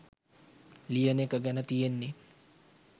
ලියන එක ගැන තියෙන්නෙ